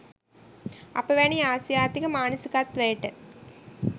අප වැනි ආසියාතික මානසිකත්වයට